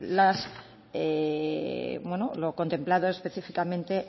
las bueno lo contemplado específicamente